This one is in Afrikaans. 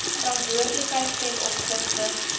verantwoordelikheid ten opsigte